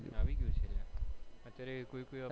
આવી ગયોતો અત્યારે પણ